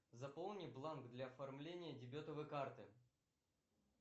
заполни бланк для оформления дебетовой карты